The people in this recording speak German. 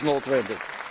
Das ist notwendig.